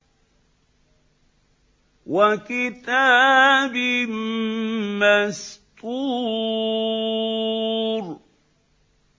وَكِتَابٍ مَّسْطُورٍ